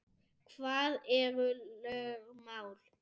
Hvað eru lögmál?